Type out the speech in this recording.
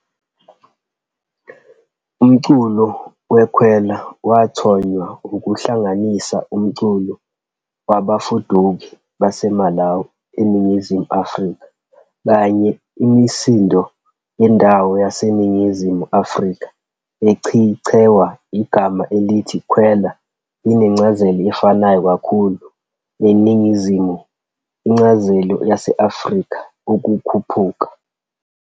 Umculo weKwela wathonywa ukuhlanganisa umculo wabafuduki baseMalawi eNingizimu Afrika, kanye imisindo yendawo yaseNingizimu Afrika. eChichewa, igama elithi Khwela linencazelo efanayo kakhulu neNingizimu Incazelo yase-Afrika -"ukukhuphuka".